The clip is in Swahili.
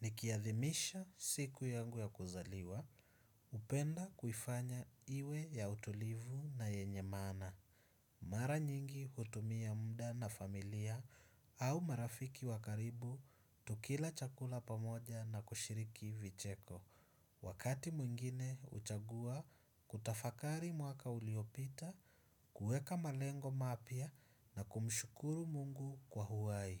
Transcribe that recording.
Nikiathimisha siku yangu ya kuzaliwa, hupenda kuifanya iwe ya utulivu na yenye maana. Mara nyingi hutumia muda na familia au marafiki wakaribu, tukila chakula pamoja na kushiriki vicheko. Wakati mwingine, huchagua kutafakari mwaka uliopita, kuewka malengo mapya na kumshukuru mungu kwa uhai.